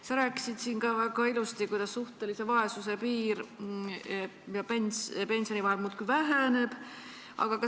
Sa rääkisid siin väga ilusasti, kuidas suhtelise vaesuse piiri ja pensioni vahe muudkui väheneb.